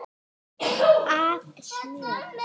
af smjöri.